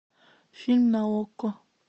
фильм на окко